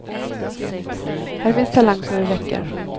Här finns talang så det räcker.